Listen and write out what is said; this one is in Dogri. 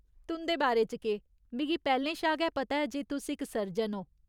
तुं'दे बारे च केह्, मिगी पैह्‌लें शा गै पता ऐ जे तुस इक सर्जन ओ।